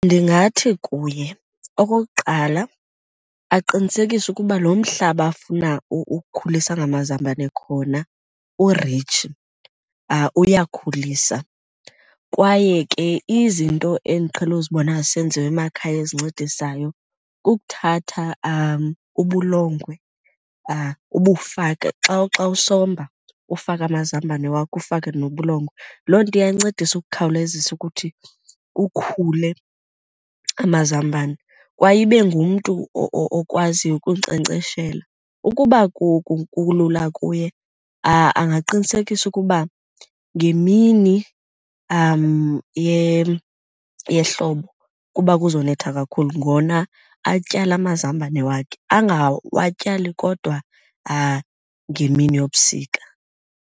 Ndingathi kuye okokuqala aqinisekise ukuba lo mhlaba afuna ukhulisa ngamazambane khona uritshi, uyakhulisa. Kwaye ke izinto endiqhele uzibona zisenziwa emakhaya ezincedisayo kukuthatha ubulongwe ubufake. Xa, xa usomba, ufake amazambane wakho ufake nobulongwe. Loo nto iyancedisa ukukhawulezisa ukuthi kukhule amazambane, kwaye ibe ngumntu okwaziyo ukunkcenkceshela. Ukuba kulula kuye, angaqinisekisa ukuba ngemini yehlobo kuba kuzonetha kakhulu ngona atyala amazambane wakhe, angawatyali kodwa ngemini yobusika.